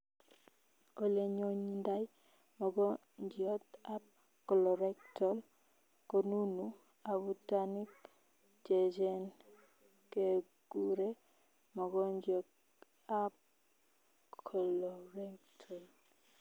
Olee nyonyidai mogongiot ab colorectal konunuu abutanik cheechen kekuree mongongiot ab colorectal